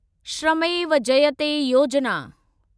श्रमेव Jayate योजिना